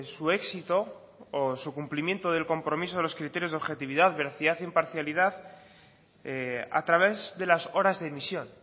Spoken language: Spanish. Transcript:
su éxito o su cumplimiento del compromiso de los criterios de objetividad veracidad e imparcialidad a través de las horas de emisión